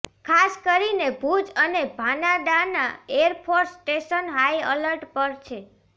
ખાસ કરીને ભુજ અને ભાનાડાના એરફોર્સ સ્ટેશન હાઇઅલર્ટ પર છે